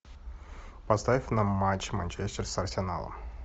поставь нам матч манчестер с арсеналом